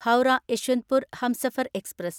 Howrah Yesvantpur Humsafar express